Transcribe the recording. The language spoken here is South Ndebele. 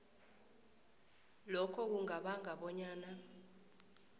lokho kungabanga bonyana